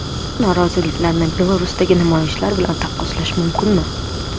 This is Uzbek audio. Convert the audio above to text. Bu noroziliklarni Belarusdagi namoyishlar bilan taqqoslash mumkinmi?.